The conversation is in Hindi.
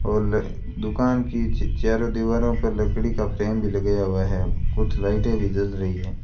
हॉल दुकान की च चारों दीवारों पर लकड़ी का फ्रेम भी लगाया हुआ है कुछ लाइटें भी जल रही है।